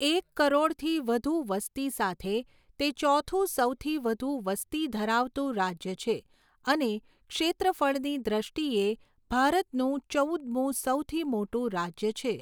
એક કરોડથી વધુ વસ્તી સાથે, તે ચોથું સૌથી વધુ વસ્તી ધરાવતું રાજ્ય છે અને ક્ષેત્રફળની દૃષ્ટિએ ભારતનું ચૌદમું સૌથી મોટું રાજ્ય છે.